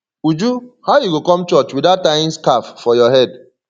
uju how you go come church without tying scarf for your head